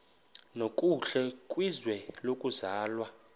nokuhle kwizwe lokuzalwa